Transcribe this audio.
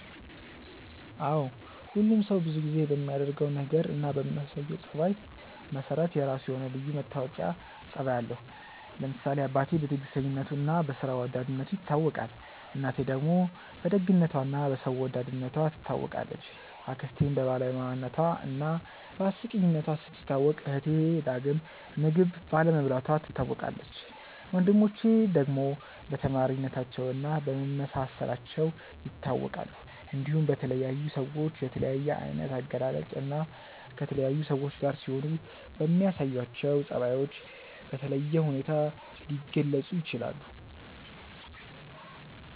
አዎ ሁሉም ሰው ብዙ ጊዜ በሚያደርገው ነገር እና በሚያሳየው ጸባይ መሰረት የራሱ የሆነ ልዩ መታወቂያ ጸባይ አለው። ለምሳሌ አባቴ በትዕግስተኝነቱ እና በስራ ወዳድነቱ ይታወቃል፣ እናቴ ደግሞ በደግነቷ እና በሰው ወዳድነቷ ትታወቃለች፣ አክስቴም በባለሙያነቷ እና በአስቂኝነቷ ስትታወቅ እህቴ ዳግም ምግብ ባለመብላቷ ትታወቃለች፣ ወንድሞቼ ደግሞ በተማሪነታቸው እና በመመሳሰላቸው ይታወቃሉ። እንዲሁም በተለያዩ ሰዎች በተለያየ አይነት አገላለጽ እና ከተለያዩ ሰዎች ጋር ሲሆኑ በሚያሳዩአቸው ጸባዮች በተለየ ሁኔታ ሊገለጹ ይችላል።